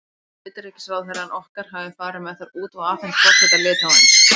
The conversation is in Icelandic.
Ég held að utanríkisráðherrann okkar hafi farið með þær út og afhent forseta Litháens.